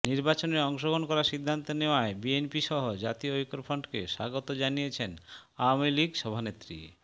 নির্বাচনে অংশগ্রহণ করার সিদ্ধান্ত নেয়ায় বিএনপিসহ জাতীয় ঐক্যফ্রন্টকে স্বাগত জানিয়েছেন আওয়ামী লীগ সভানেত্রী